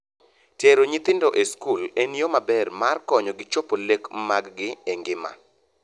Tero nyithindo e skul en yoo maber mar konyogi chopo lek maggi e ngima.